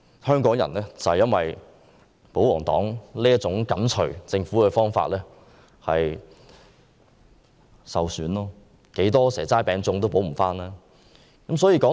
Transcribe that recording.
香港人正正因為保皇黨緊隨政府的做法而受損，多少"蛇齋餅粽"也無法彌補。